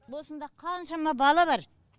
осында қаншама бала бар